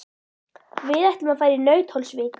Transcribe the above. Við ætlum að fara í Nauthólsvík.